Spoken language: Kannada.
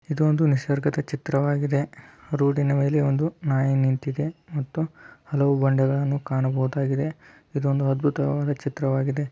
ಇದೊಂದು ನಿಸರ್ಗದ ಚಿತ್ರವಾಗಿದೆ ರೋಡಿ ನ ಮೇಲೆ ಒಂದು ನಾಯಿ ನಿಂತಿದೆ ಮತ್ತು ಹಲವು ಬಂಡೇಗಳನ್ನೂ ಕಾಣಬಹುದಾಗಿದೆ ಇದ್ದೊಂದು ಅದ್ಭುತವಾದ ಚಿತ್ರವಾಗಿದೆ.